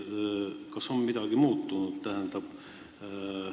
Kas midagi on muutunud?